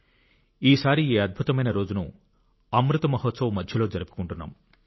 ఈసారి ఈ అద్భుతమైన రోజును అమృత్ మహోత్సవ్ మధ్యలో జరుపుకుంటున్నాం